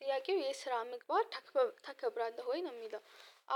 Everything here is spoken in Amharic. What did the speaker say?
ጥያቄው የስራ ምግቦች ታከብራለሁ ወይ ነው የሚለው?